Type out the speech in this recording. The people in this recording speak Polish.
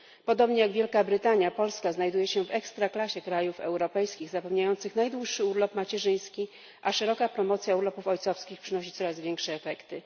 Podobnie jak Wielka Brytania, Polska znajduje się w ekstraklasie krajów europejskich zapewniających najdłuższy urlop macierzyński, a szeroka promocja urlopów ojcowskich przynosi coraz większe efekty.